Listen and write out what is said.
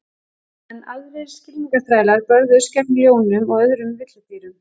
Enn aðrir skylmingaþrælar börðust gegn ljónum og öðrum villidýrum.